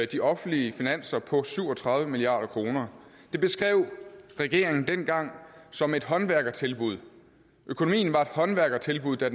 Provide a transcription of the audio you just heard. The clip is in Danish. de offentlige finanser på syv og tredive milliard kroner det beskrev regeringen dengang som et håndværkertilbud økonomien var et håndværkertilbud da